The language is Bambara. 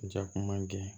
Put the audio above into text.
Jakuma gɛn